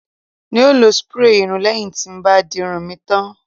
n o lo spray irun leyin ti n bá dirun mi tan